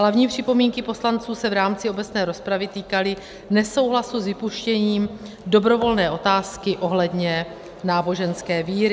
Hlavní připomínky poslanců se v rámci obecné rozpravy týkaly nesouhlasu s vypuštěním dobrovolné otázky ohledně náboženské víry.